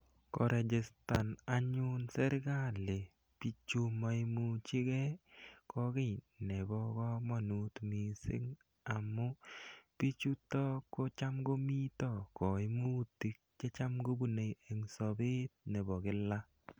Korejistan anyun serikali pichu ma imuchi gei ko ki nepo kamanut missing' amu pichutok ko cham komita kaimutik che cham kopunei eng' sapet nepo kila.